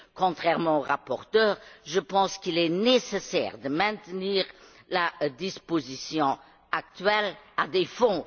Contrairement au rapporteur, je pense qu'il est nécessaire de maintenir la disposition actuelle concernant les fonds.